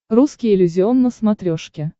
русский иллюзион на смотрешке